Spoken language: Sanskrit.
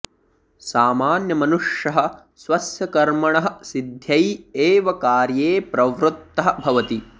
सामान्यमनुष्यः स्वस्य कर्मणः सिद्ध्यै एव कार्ये प्रवृत्तः भवति